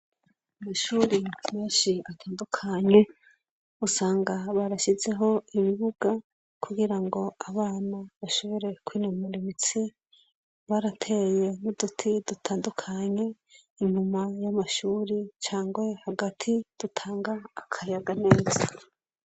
Ishure rigira ibintu vyinshi bitandukanye ,usanga barashizeho ibibuga ,kugira abana bashobore kwinonora imitsi barateye uduti dutandukanye nyuma yamashure canke Hagati dutanga akayaga.